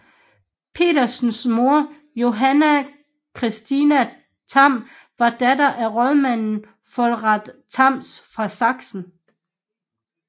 Petersens mor Johanna Christina Tham var datter af rådmanden Volrath Tham fra Sachsen